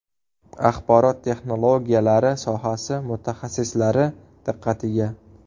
Axborot texnologiyalari sohasi mutaxassislari diqqatiga!.